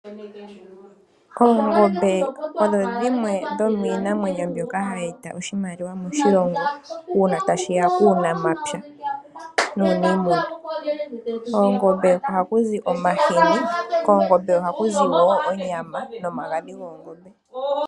Oongombe odho dhimwe dhomiinamwenyo mbyoka hayi eta oshimaliwa moshilongo, uuna tashi ya kuunamapya nuunimuna. Koongombe ohaku zi omahini, koongombe ohaku zi wo onyama nomagadhi goongombe.